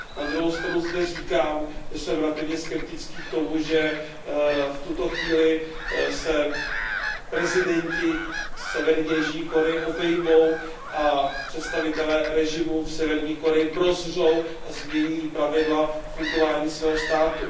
Na druhou stranu zde říkám, že jsem relativně skeptický k tomu, že v tuto chvíli se prezidenti Severní a Jižní Koreje obejmou a představitelé režimu v Severní Koreji prozřou a změní pravidla fungování svého státu.